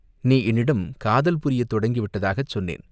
நீ என்னிடம் காதல் புரியத் தொடங்கி விட்டதாகச் சொன்னேன்.